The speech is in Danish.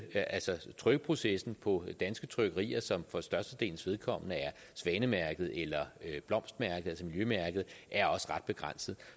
trykkeprocessen på danske trykkerier som for størstedelens vedkommende er svanemærket eller blomstmærket altså miljømærket er også ret begrænset